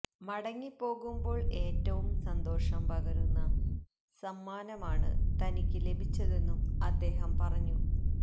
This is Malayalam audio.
മടങ്ങിപ്പോകുമ്പോള് ഏറ്റവും സന്തോഷം പകരുന്ന സമ്മാനമാണ് തനിക്ക് ലഭിച്ചതെന്നും അദ്ദേഹം പറഞ്ഞു